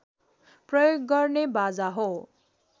प्रयोग गर्ने बाजा हो